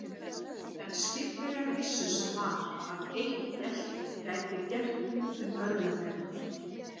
En skipverjar vissu sem var, að eitt gelt gæti gert út um örlög þeirra.